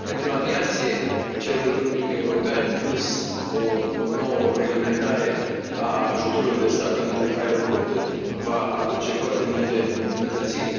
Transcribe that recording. Pentru aviație, Cerul unic european, plus o nouă reglementare a ajutorului de stat pentru aeroporturi va aduce foarte multe îmbunătățiri.